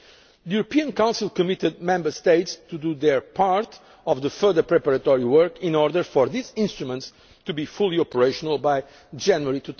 the EIB. The European Council committed Member States to do their part of the further preparatory work in order for these instruments to be fully operational by